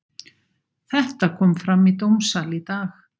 Þetta kom fram í dómssal í dag.